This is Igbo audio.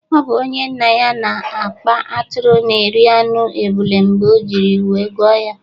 Ọ bụ onye nnaya na-akpa atụrụ na-eri anụ ebule mgbe o jiri wee gụọ ya